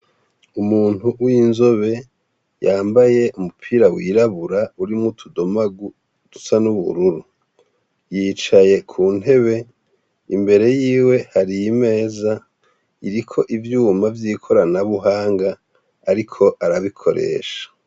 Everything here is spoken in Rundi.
Umuntu w'inzobe yambaye umupira wirabura urimwo utudomagu dusa n'ubururu. Yicaye ku ntebe. Imbere yiwe, hari imeza iriko ivyuma vy'ikoranabuhanga, ariko arabikoresha.